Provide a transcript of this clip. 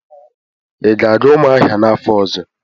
Ị ga-aga Umuahia n'afọ ọzọ?